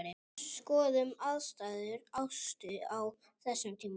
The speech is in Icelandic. Skoðum aðstæður Ástu á þessum tíma.